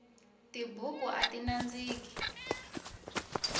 tibuku ati nandziki